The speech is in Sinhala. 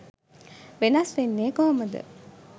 වෙනස් වෙන්නේ කොහොමද?